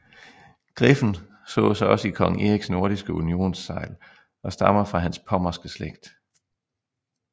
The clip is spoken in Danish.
Griffen sås også i kong Eriks nordiske unionssegl og stammer fra hans pommerske slægt